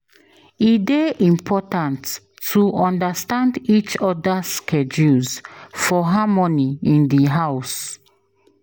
E dey important to understand each other’s schedules for harmony in the house.